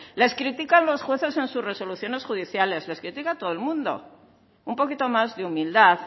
les critican los jueces en sus resoluciones judiciales les critica todo el mundo un poquito más de humildad